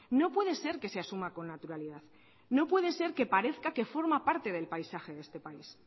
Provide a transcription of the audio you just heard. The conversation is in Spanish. no puede ser que se asuma con naturalidad no puede ser que parezca que forma parte del paisaje de este país